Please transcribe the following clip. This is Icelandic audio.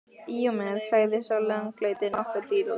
Í og með, sagði sá langleiti, nokkuð drýldinn.